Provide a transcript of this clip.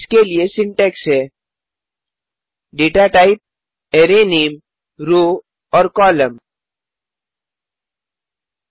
इसके लिये सिंटैक्स है data टाइप array नामे रोव और कोलम्न